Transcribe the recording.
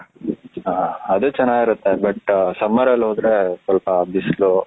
ಹ ಅದು ಚೆನ್ನಾಗಿರುತ್ತೆ but summer ಅಲ್ಲಿ ಹೋದ್ರೆ ಸ್ವಲ್ಪ ಬಿಸಿಲು